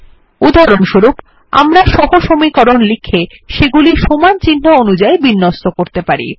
উদাহরণস্বরূপ আমরা সহসমীকরণ লিখে সেগুলি সমান চিহ্ন অনুযায়ী বিন্যস্ত করতে পারি